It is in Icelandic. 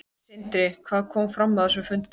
Sindri: Hvað kom fram á þessum fundi?